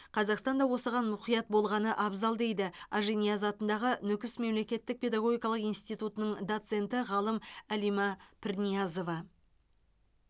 қазақстан да осыған мұқият болғаны абзал дейді ажинияз атындағы нүкіс мемлекеттік педагогикалық институтының доценті ғалым алима пірниязова